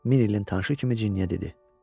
Min ilin tanışı kimi cinniyə dedi.